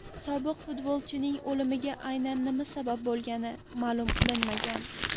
Sobiq futbolchining o‘limiga aynan nima sabab bo‘lgani ma’lum qilinmagan.